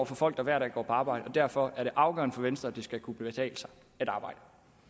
folk der hver dag går på arbejde og derfor er det afgørende for venstre at det skal kunne betale sig at arbejde